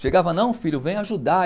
Chegava, não filho, vem ajudar.